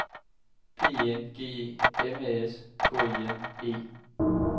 P E N G E M A S K I N E